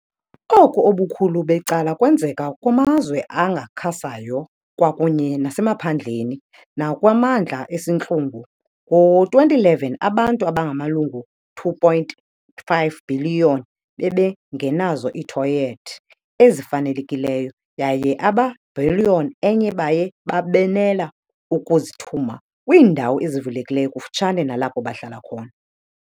Oku ubukhulu becala kwenzeka kumazwe angakhasayo kwakunye nasemaphandleni nakwimimandla esintlungu . Ngo-2011 abantu abamalunga ne-2.5 bhiliyoni bebengenazo iithoyethi ezifanelekileyo yaye abayibhiliyoni enye baye babenela ukuzithuma kwiindawo ezivulekileyo kufutshane nalapho bahlala khona.